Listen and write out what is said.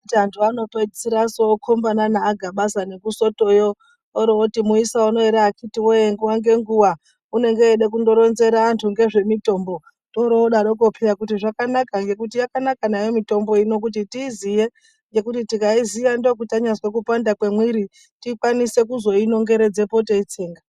Kuti antu anopedzisira okombana naaGabaza nekuSotoyo oroti muisa unowu ere akitiwoye nguwa ngenguwa unenge eida kungoronzera antu ngezvemitombo torodaroko peya kuti zvakanaka ngekuti yakanaka nayo mitombo ino kuti tiiziye ngekuti tikaiziya ndokuti tanyazwe kupanda kwemwiri tikwanise kuzoinongeredzepo teitsenga.